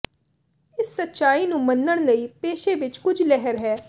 ਇਸ ਸੱਚਾਈ ਨੂੰ ਮੰਨਣ ਲਈ ਪੇਸ਼ੇ ਵਿਚ ਕੁਝ ਲਹਿਰ ਹੈ